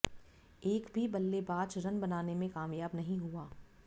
एक भी बल्लेबाज रन बनाने में कामयाब नहीं हुआ